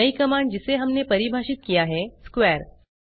नयी कमांड जिसे हमने परिभाषित किया है स्क्वेयर है